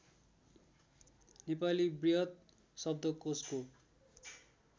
नेपाली वृहत शब्दकोशको